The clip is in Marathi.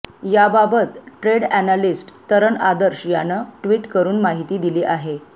याबाबत ट्रेड अॅनालिस्ट तरण आदर्श यानं ट्विट करून माहिती दिली आहे